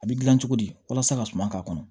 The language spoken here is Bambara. A bɛ gilan cogo di walasa ka suma k'a kɔnɔ